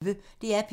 DR P1